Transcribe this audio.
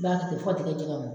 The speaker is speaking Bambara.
I b'a to ten fɔ ka t'i ka jɛgɛ mɔ